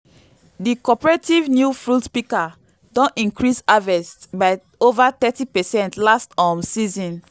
di cooperative new fruit pika don increase harvest by ova thirty percent last um season